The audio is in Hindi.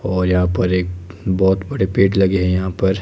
और यहां पर एक बहोत बड़े पेड़ लगे हैं यहां पर।